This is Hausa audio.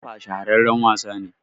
kwalllon kafa shahararren wasa ne